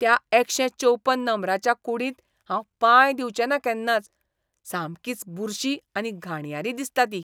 त्या एकशे चौपन नंबराच्या कूडींत हांव पांय दिवचेंना केन्नाच, सामकीच बुरशी आनी घाणयारी दिसता ती.